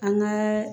An ka